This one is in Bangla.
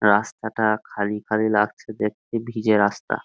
রাস্তাটা খালি খালি লাগছে দেখতে ভিজে রাস্তা।